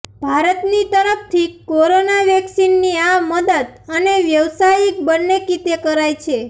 ભારતની તરફથી કોરોના વેક્સીનની આ મદદ અને વ્યવસાયિક બંને કીતે કરાઈ છે